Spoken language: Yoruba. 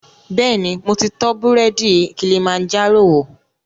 Bẹ́ẹ̀ni, mo ti tọ búrẹ́dì Kilimanjaro wò